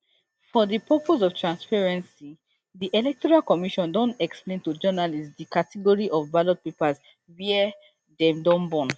for di purpose of transparency di electoral commission don explain to journalists di category of ballot papers wia dey don burn